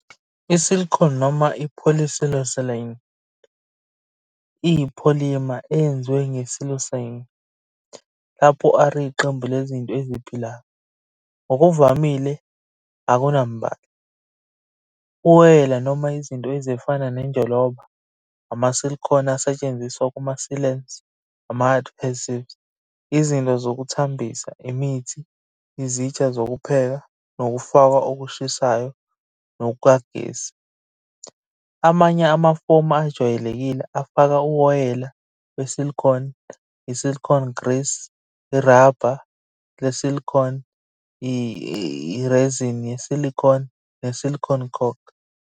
I-silicone noma i-polysiloxane iyi- polymer eyenziwe nge-siloxane, lapho R iqembu lezinto eziphilayo. Ngokuvamile akunambala, uwoyela noma izinto ezifana nenjoloba. Ama-silicone asetshenziswa kuma-sealants, ama-adhesives, izinto zokuthambisa, imithi, izitsha zokupheka, nokufakwa okushisayo nokugesi. Amanye amafomu ajwayelekile afaka uwoyela we-silicone, i-silicone grease, iraba le-silicone, i-resin ye-silicone, ne-silicone caulk.